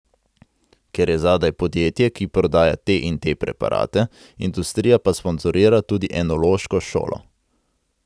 Ker je zadaj podjetje, ki prodaja te in te preparate, industrija pa sponzorira tudi enološko šolo.